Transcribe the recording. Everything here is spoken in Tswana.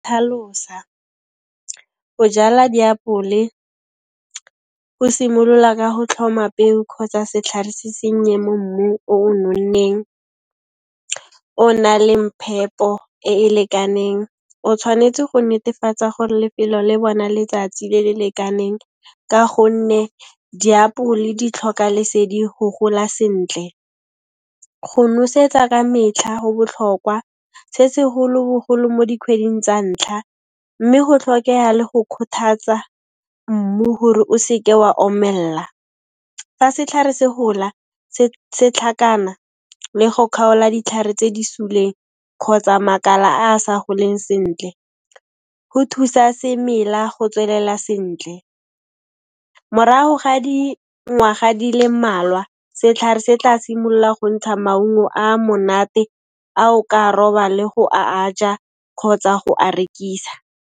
Go jala diapole go simolola ka go tlhoma peo kgotsa setlhare se sennye mo mmu o o nonneng, o na leng phepo e e lekaneng. O tshwanetse go netefatsa gore lefelo le bona letsatsi le le lekaneng, ka gonne diapole di tlhoka lesedi go gola sentle. Go nosetsa ka metlha ho botlhokwa, se segolo-bogolo mo dikhweding tsa ntlha mme ho tlhokeha le go kgothatsa mmu hore o seke wa omella. Fa setlhare se hola, se tlhakana le go khaola ditlhare tse di suleng kgotsa makala a a sa goleng sentle, go thusa semela go tswelela sentle. Morago ga dingwaga di le mmalwa, setlhare se tla simolla go ntsha maungo a monate, a o ka roba, le go a a ja kgotsa go a rekisa.